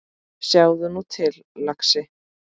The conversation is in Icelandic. Sjáðu nú til, lagsi.